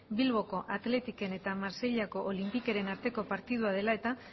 bilboko athleticen eta marseillako olympiqueren arteko partida dela eta